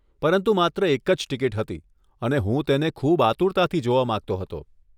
પરંતુ માત્ર એક જ ટિકિટ હતી, અને હું તેને ખૂબ આતુરતાથી જોવા માંગતો હતો.